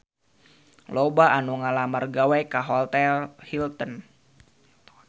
Loba anu ngalamar gawe ka Hotel Hilton